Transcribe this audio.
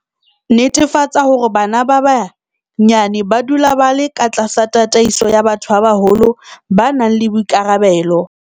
Netefatsa hore bana ba banyane ba dula ba le katlasa tataiso ya batho ba baholo ba nang le boikarabelo.